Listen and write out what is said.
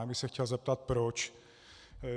Já bych se chtěl zeptat proč.